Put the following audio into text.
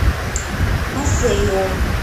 масейо